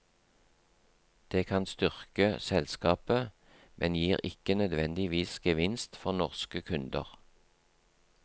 Det kan styrke selskapet, men gir ikke nødvendigvis gevinst for norske kunder.